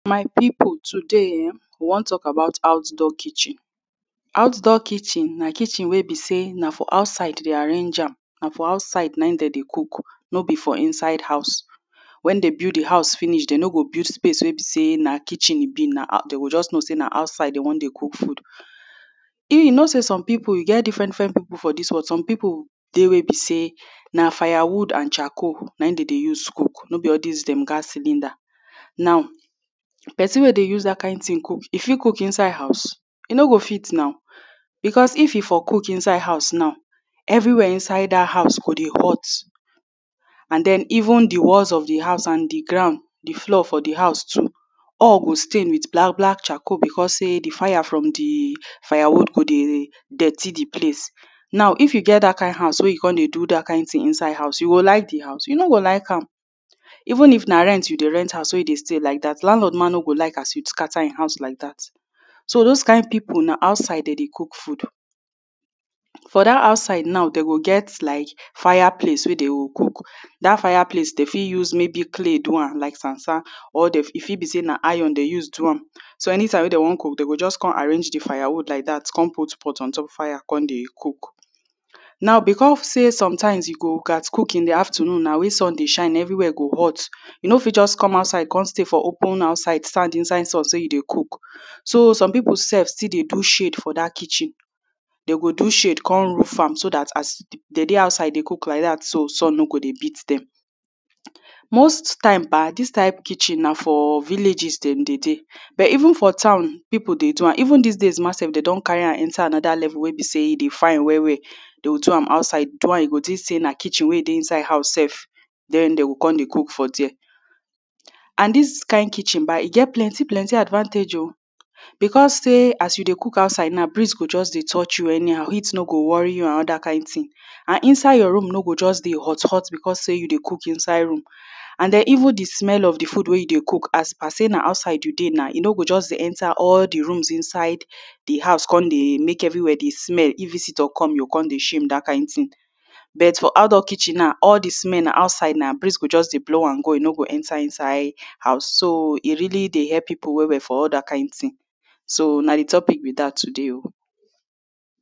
my people today ehh, we want talk about outdoor kitchen outdoor kitchen na kitchen wey be say na for outside they arrange am na for outside na ehm they de cook no be for inside house when they build the house finish they no go build space wey be say na kitchen e be, na outdoor, we just know say na outside they want de cook food you, you know say some people e get different different people for this world some people de wey be say, na fire wood and charcoal na ehm they de use cook no be all this them gas cylinder now, person wey de use that kind thing cook, e fit cook inside house? e no go fit now because if e for cook inside house now everywhere inside that house go de hot and then even the walls of the house and the ground, the floor for the house too all go stain with black black charcoal because say the fire from the fire wood go de dirty the place. Now, if you get that kind house wey you come de do that kind thing inside house, you go like the house? you no go like am. Even if na rent you de rent house wey you de stay like that Landlord mah no go like as you scatter ehm house like that so, those kind people na outside they de cook food for that outside now, they go get like fire place wey they go cook that fire place they fit use maybe clay do am like sand sand or de, e fit be say na iron they use do am so, anytime wey they want cook they go just come arrange the fire wood like that come put pot ontop fire come de cook. Now, because say sometime you go gat cook in the afternoon na when sun de shine everywhere go hot you no fit just come outside come stay for open outside stand inside sun say you de cook so some people self still de do shade for that kitchen they go de shade come roof am so that as they de outside de cook like that so, sun no go de beat them. most time ba, this type kitchen na for villages them de de but even for town people de do am, even this days mahsef they don carry am enter another level wey be say de fine well well they go do am outside, do am you go think say na kitchen wey de inside house sef then they go come de cook for there and this kind kitchen bah, he get plenty plenty advantage o because say as you de cook outside now breeze go just de touch you anyhow heat no go worry you and other kind thing and inside your room no go just de hot hot because say you de cook inside room and the even the smell of the food wey you de cook as par say na outside wey you de na, e no go just de enter all the rooms inside the house come de make everywhere de smell, if visitor come you come de shame that kind thing but for outdoor kitchen now all the smell na outside na, breeze go just de blow am go e non go enter inside house, so e really de help people well well for all that kind thing so na the topic be that today o.